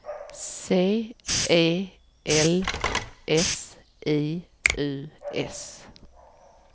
C E L S I U S